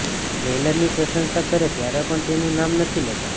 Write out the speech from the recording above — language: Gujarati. ટ્રેલરની પ્રશંસા કરે ત્યારે પણ તેનું નામ નથી લેતા